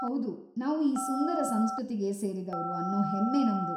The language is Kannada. ಹೌದು, ನಾವು ಈ ಸುಂದರ ಸಂಸ್ಕೃತಿಗೆ ಸೇರಿದವ್ರು ಅನ್ನೋ ಹೆಮ್ಮೆ ನಮ್ದು.